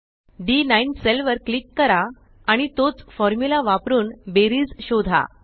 डी9 cell वर click करा आणि तोच फॉर्मुला वापरुन बेरीज शोधा